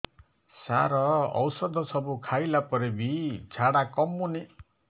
ସାର ଔଷଧ ସବୁ ଖାଇଲା ପରେ ବି ଝାଡା କମୁନି